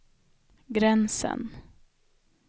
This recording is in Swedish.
gränsen